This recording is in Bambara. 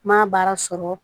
N ma baara sɔrɔ